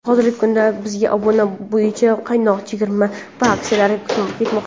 Hozirgi kunda bizda obuna bo‘yicha qaynoq chegirma va aksiyalar ketmoqda.